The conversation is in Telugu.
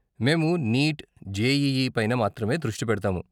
మేము నీట్, జేఈఈ పైన మాత్రమే దృష్టి పెడతాము.